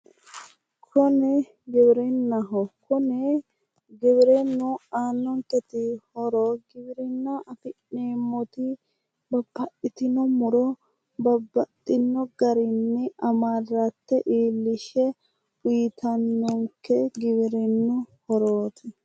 Koni giwirinnaho kuni giwirinnu aannonketi horo giwirinna afi'neemmoti babbaxxitino muro babbaxitino garinni amarratte giwirinnu aannonke horooti